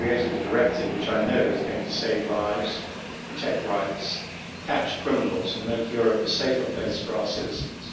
We have created a directive which I know is going to save lives, protect rights, catch criminals and make Europe a safer place for our citizens.